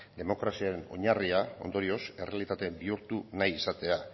demokraziaren oinarriaren ondorioz errealitate bihurtu nahi izatea